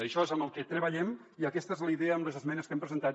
en això és en el que treballem i aquesta és la idea en les esmenes que hem presentat